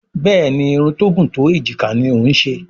Béèni Irun tó gún tó ejika ní o ń ṣe.